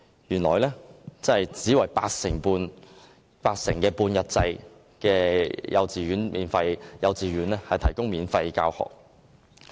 原來政府只為佔八成的半日制幼稚園提供免費教學。